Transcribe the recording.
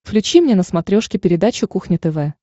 включи мне на смотрешке передачу кухня тв